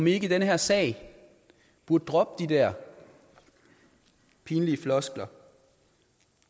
i den her sag burde droppe de der pinlige floskler